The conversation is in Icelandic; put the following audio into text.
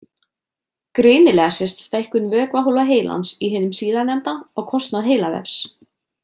Greinilega sést stækkun vökvahólfa heilans í hinum síðarnefnda á kostnað heilavefs.